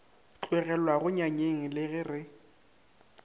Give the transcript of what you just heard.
tlogelwago nyanyeng le ge re